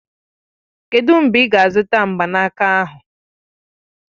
Kedụ mgbe ị ga-azụta mgbanaka ahụ?